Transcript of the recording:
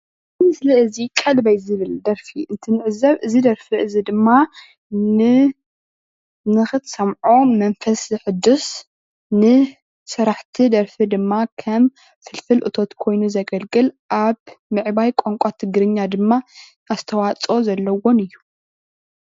እዚ ምስሊ እዚ ቀልበይ ዝብል ደርፊ እንትንዕዘብ እዚ ደርፊ እዚ ድማ ን ንኽትሰምዖ መንፈስ ዘሕድስ ን ስራሕቲ ደርፊ ድማ ከም ፍልፍል እቶት ኮይኑ ዘገልግል ኣብ ምዕባይ ቋንቋ ትግርኛ ድማ ኣስተዋፆፅኦ ዘለዎን እዩ::